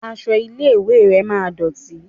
Aṣọ ilé ìwé rẹ máa dọ̀tì.